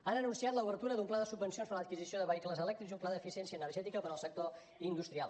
han anunciat l’obertura d’un pla de subvencions per l’adquisició de vehicles elèctrics i un pla d’eficiència energètica per al sector industrial